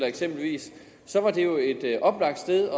eksempelvis var det jo et oplagt sted